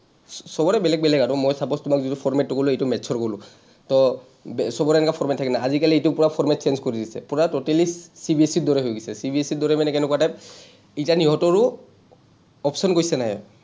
চবৰে বেলেগ বেলেগ আৰু, মই suppose তোমাক যিটো format টো ক’লো, এইটো maths ৰ ক’লো, to চবৰে এনেকা format থাকে না, আজিকালি এইটো পোৰা format change কৰি দিছে, পোৰা totallyCBSE গৰে হৈ গৈছে, CBSE ৰ দৰে মানে কেনেকুৱা type, এতিয়া ইহঁতৰো option question আহে।